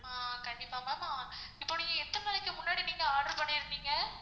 ஆஹ் கண்டிப்பா ma'am ஆஹ் இப்போ நீங்க எத்தன நாளைக்கு மின்னாடி நீங்க order பண்ணிருந்தீங்க?